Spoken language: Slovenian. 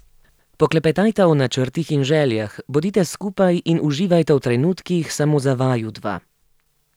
Poklepetajta o načrtih in željah, bodita skupaj in uživajta v trenutkih samo za vaju dva.